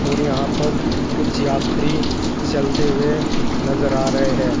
और यहां पर कुछ यात्री चलते हुए नजर आ रहे है।